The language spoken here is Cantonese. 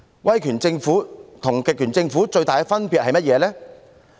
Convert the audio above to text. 威權政府跟極權政府的最大分別是甚麼呢？